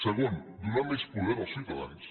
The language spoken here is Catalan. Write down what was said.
segon donar més poder als ciutadans